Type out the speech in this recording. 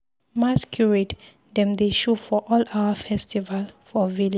Masqurade dem dey show for all our festival for village.